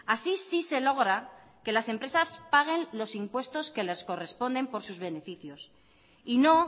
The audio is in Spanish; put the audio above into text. así sí se logra que las empresas paguen los impuestos que les corresponden por sus beneficios y no